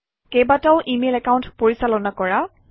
কেইবাটাও email account পৰিচালনা কৰা